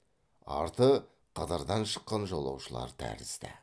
арты қыдырдан шыққан жолаушылар тәрізді